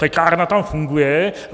Pekárna tam funguje.